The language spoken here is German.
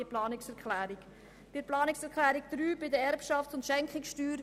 Zu Planungserklärung 3 betreffend die Erbschafts- und Schenkungssteuer: